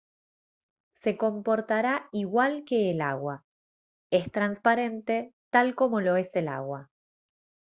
se comportará igual que el agua es transparente tal como lo es el agua